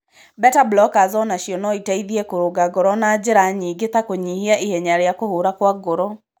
Beta blockers o nacio no ĩteithie kũrũnga ngoro na njĩra nyingĩ ta kũnyihia ihenya rĩa kũhũra kwa ngoro.